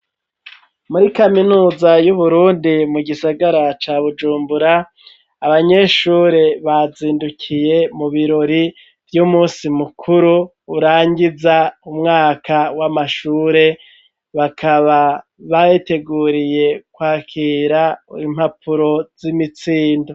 Muri kaminuza y'Uburundi mu gisagara ca Bujumbura, abanyeshuri bazindukiye mu birori vy'umunsi mukuru urangiza umwaka w'amashure, bakaba babiteguriye kwakira impapuro z'imitsindo.